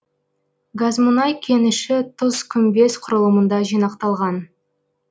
газмұнай кеніші тұзкүмбез құрылымында жинақталған